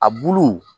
A bulu